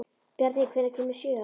Bjarný, hvenær kemur sjöan?